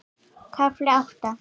KAFLI ÁTTA